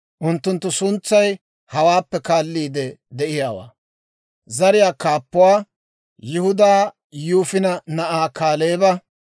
Unttunttu suntsay hawaappe kaalliide de'iyaawaa. Zariyaa Kaappuwaa Yihudaa Yifune na'aa Kaaleeba;